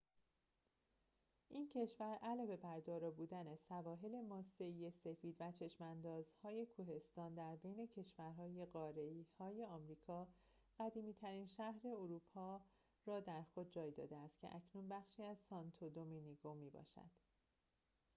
این کشور علاوه بر دارا بودن سواحل ماسه‌ای سفید و چشم‌اندازهای کوهستان در بین کشورهای قارّه‌های آمریکا قدیمی‌ترین شهر اروپا را در خود جای داده است که اکنون بخشی از سانتو دومینگو می‌باشد